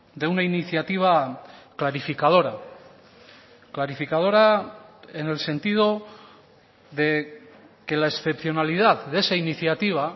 de una iniciativa clarificadora clarificadora en el sentido de que la excepcionalidad de esa iniciativa